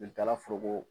Joli taala foroko